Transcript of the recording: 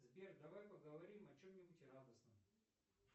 сбер давай поговорим о чем нибудь радостном